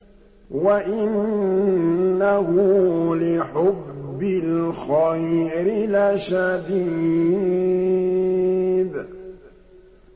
وَإِنَّهُ لِحُبِّ الْخَيْرِ لَشَدِيدٌ